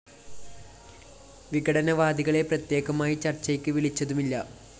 വിഘടനവാദികളെ പ്രത്യേകമായി ചര്‍ച്ചയ്ക്ക് വിളിച്ചതുമില്ല